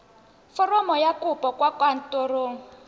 foromo ya kopo kwa kantorong